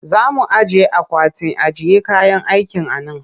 Za mu ajiye akwatin ajiye kayan aiki a nan